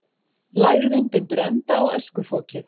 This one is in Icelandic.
Lægðin bindur enda á öskufokið